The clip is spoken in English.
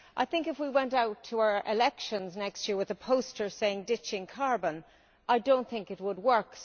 I think if we went out to our elections next year with a poster saying ditching carbon', I do not think it would work.